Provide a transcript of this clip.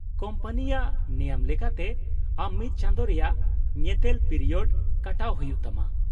-ᱠᱳᱢᱯᱟᱱᱤᱭᱟᱜ ᱱᱮᱭᱚᱢ ᱞᱮᱠᱟᱛᱮ ᱟᱢ ᱢᱤᱫ ᱪᱟᱸᱫᱳ ᱨᱮᱭᱟᱜ ᱧᱮᱛᱮᱞ ᱯᱤᱨᱤᱭᱳᱰ ᱠᱟᱴᱟᱣ ᱦᱩᱭᱩᱜ ᱛᱟᱢᱟ ᱾